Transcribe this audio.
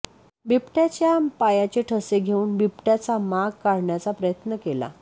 बिबट्याच्या पायाचे ठसे घेऊन बिबट्याचा माग काढण्याचा प्रयत्न केला